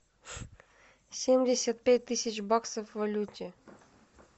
семьдесят пять тысяч баксов в валюте